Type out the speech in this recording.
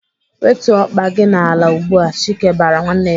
"Wetuo ọkpa gị n'ala ugbu a!" Chike bara nwanne ya.